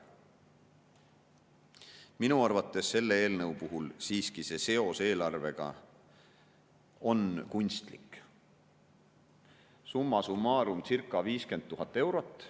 Minu arvates selle eelnõu puhul siiski seos eelarvega on kunstlik, summa summarum circa 50 000 eurot.